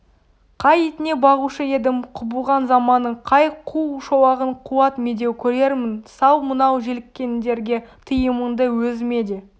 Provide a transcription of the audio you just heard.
қай итіне бағушы едім құбылған заманның қай қу шолағын қуат-медеу көрермін сал мынау желіккендерге тыйымыңды өзіме де